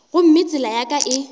gomme tsela ya ka e